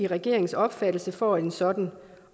regeringens opfattelse til for at en sådan